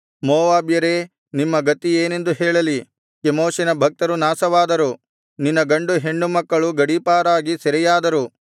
ಮೋವಾಬ್ಯರೇ ನಿಮ್ಮ ಗತಿಯೇನೆಂದು ಹೇಳಲಿ ಕೆಮೋಷಿನ ಭಕ್ತರು ನಾಶವಾದರು ನಿನ್ನ ಗಂಡು ಹೆಣ್ಣುಮಕ್ಕಳು ಗಡೀಪಾರಾಗಿ ಸೆರೆಯಾದರು